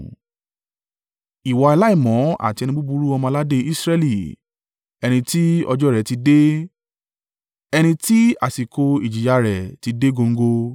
“ ‘Ìwọ aláìmọ́ àti ẹni búburú ọmọ-aládé Israẹli, ẹni ti ọjọ́ rẹ̀ ti dé, ẹni tí àsìkò ìjìyà rẹ̀ ti dé góńgó,